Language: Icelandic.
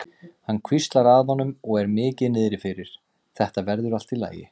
Hann hvíslar að honum og er mikið niðri fyrir: Þetta verður allt í lagi.